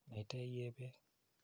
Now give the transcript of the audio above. Naite iee peek.